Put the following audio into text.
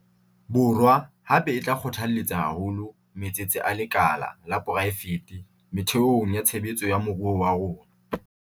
Borwa, hape, e tla kgothaletsa haholo matsete a lekala la poraefete methe ong ya tshebetso ya moruo wa rona.